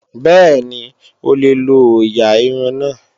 Bẹ́ẹ̀ni, o lè lo ọ̀ọ̀yà irun náà